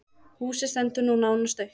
Húsið stendur nú nánast autt.